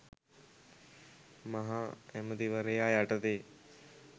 මහ ඇමති වරයා යටතේ